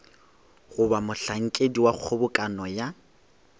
goba mohlankedi wa kgobokano ya